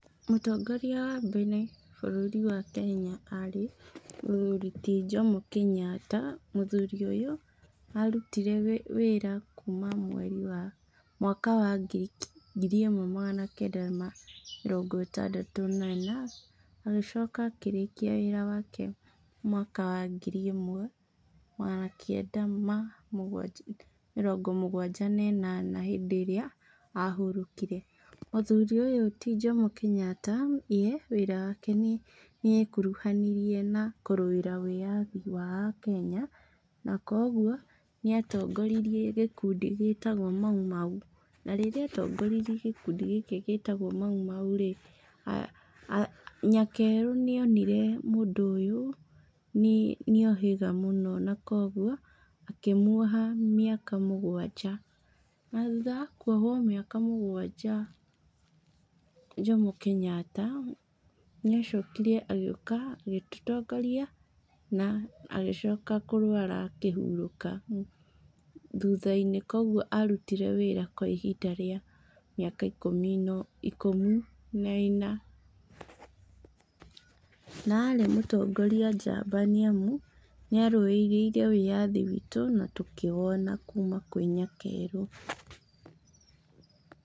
Mũtongoria wa mbere wa bũrũri wa kenya arĩ mũthuri ti Jomo Kenyatta, mũthuri ũyũ, arutire wĩra kuma mweri wa, mwaka wa ngiri ĩmwe magana kenda ma mĩrongo ĩtandatũ na ĩna, agĩcoka akĩrĩkia wĩra wake mwaka wa ngiri ĩmwe na magana kend ama mũgwanja na ĩnana hĩbdĩ ĩrĩa ahurũkire, mũthuri ũyũ ti Jomo Kenyatta we, wira wake nĩekuruhanirie na kũrũĩra wĩyathi wa akenya, na koguo nĩatongoririe gĩkundi gĩtagwo maumau, na rĩrĩa atongoririe gĩkundi gĩkĩ gĩtagwo maumau rĩ, a nyakerũ nĩonire mũndũ ũyũ nĩohĩga mũno na koguo, akímuoha mĩaka mũgwanja, thutha wa kuohwo mĩaka mũgwanja Jomo Kenyatta nĩacokire agĩũka agĩtũtongoria agĩcka kũrwara akĩhurũka, thutha-inĩ koguo arutire wĩra kwa ihinda rĩa, mĩaka ikũmi no ikũmi na ĩna, na arĩ mũtongoria njamba nĩamu, nĩarũĩrĩire wĩyathi witũ natũkĩwona kuma kwĩ nyakerũ.